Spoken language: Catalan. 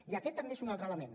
i aquest també és un altre element